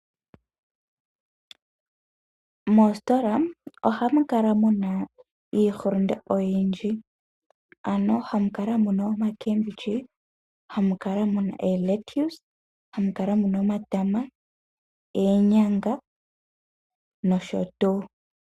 Moositola, ohamu kala muna iihulunde oyindji, ano hamu kala muna omakembendji, hamu kala muna eeletuse, hamu kala muna omatama, eenyanga nosho tuu.